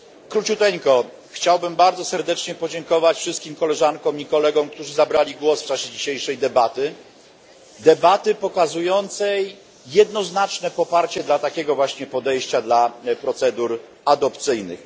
Króciutko chciałbym bardzo serdecznie podziękować wszystkim koleżankom i kolegom, którzy zabrali głos w czasie dzisiejszej debaty, pokazującej jednoznaczne poparcie dla takiego właśnie podejścia do procedur adopcyjnych.